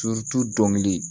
dɔnkili